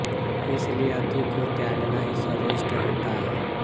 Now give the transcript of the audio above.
इसलिए अति को त्यागना ही श्रेष्ठ होता है